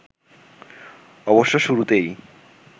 অবশ্য শুরুতেই